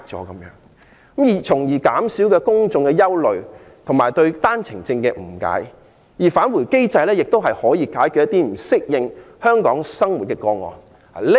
政府須減少公眾的憂慮及對單程證的誤解，並設立"返回機制"，以解決不適應香港生活的個案。